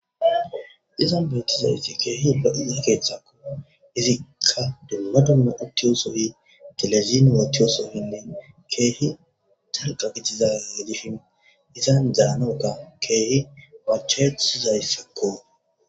Izan beettizayti keehi lo7iza keeththa izikka dumma dumma uttiyobinne telesi uttiyosonne keehi dalgga gidiza gidishin izan danoga izan machcha7ettizaysako.